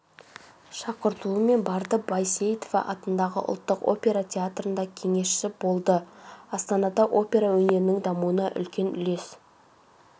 шақыртуымен барды байсейітова атындағы ұлттық опера театрында кеңесші болды астанада опера өнерінің дамуына үлкен үлес